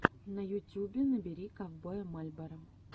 на ютюбе набери ковбоя мальборо